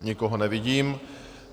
Nikoho nevidím.